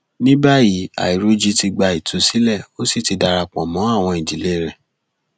ní báyìí àìrọjì ti gba ìtúsílẹ ó sì ti darapọ mọ àwọn ìdílé rẹ